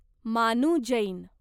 मानू जैन